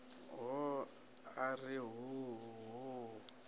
hona a ri hoo hoo